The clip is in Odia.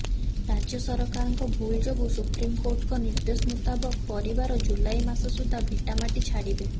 ରାଜ୍ୟ ସରକାରଙ୍କ ଭୁଲ୍ ଯୋଗୁଁ ସୁପ୍ରିମକୋର୍ଟଙ୍କ ନିର୍ଦ୍ଦେଶ ମୁତାବକ ପରିବାର ଜୁଲାଇ ମାସ ସୁଦ୍ଧା ଭିଟାମାଟି ଛାଡ଼ିବେ